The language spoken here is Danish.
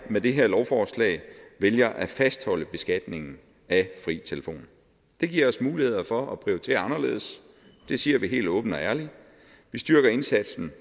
med det her lovforslag vælger at fastholde beskatningen af fri telefon det giver os mulighed for at prioritere anderledes det siger vi helt åbent og ærligt vi styrker indsatsen